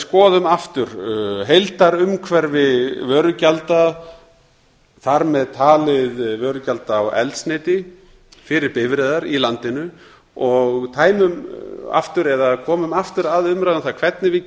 skoðum aftur heildarumhverfi vörugjalda þar með talið vörugjalda á eldsneyti fyrir bifreiðar í landinu og dæmum aftur eða komum aftur að umræðu um það hvernig við